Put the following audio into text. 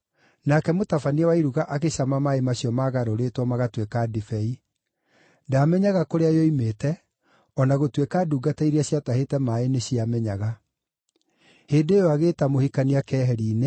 nake mũtabania wa iruga agĩcama maaĩ macio maagarũrĩtwo magatuĩka ndibei. Ndaamenyaga kũrĩa yoimĩte, o na gũtuĩka ndungata iria ciatahĩte maaĩ nĩciamenyaga. Hĩndĩ ĩyo agĩĩta mũhikania keheri-inĩ